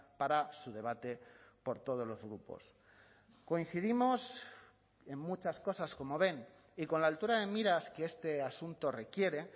para su debate por todos los grupos coincidimos en muchas cosas como ven y con la altura de miras que este asunto requiere